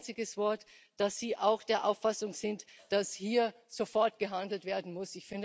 Kein einziges Wort, dass Sie auch der Auffassung sind, dass hier sofort gehandelt werden muss.